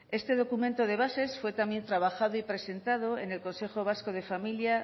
este documento de bases fue también trabajado y presentado en el consejo vasco de familia